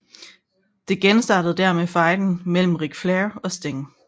Det genstartede dermed fejden mellem Ric Flair og Sting